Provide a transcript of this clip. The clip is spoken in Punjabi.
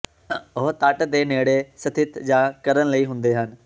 ਉਹ ਤੱਟ ਦੇ ਨੇੜੇ ਸਥਿਤ ਜਾ ਕਰਨ ਲਈ ਹੁੰਦੇ ਹਨ